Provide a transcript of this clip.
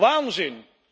Waanzin!